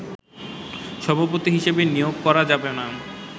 সভাপতি হিসেবে নিয়োগ করা যাবেনা